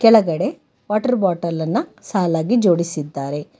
ಕೆಳಗಡೆ ವಾಟರ್ ಬಾಟಲನ್ನ ಸಾಲಾಗಿ ಜೋಡಿಸಿದ್ದಾರೆ.